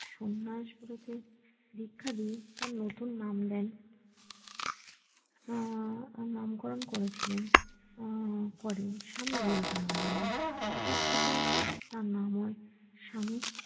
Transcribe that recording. সন্ন্যাস ব্রতে দীক্ষা দিয়ে তার নতুন নাম দেন আহ নামকরণ করেছিলেন আহ করেন স্বামী বিবেকানন্দ নামে তারপর থেকে তার নাম হয়ে স্বামী